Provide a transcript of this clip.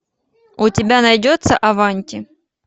у тебя найдется аванти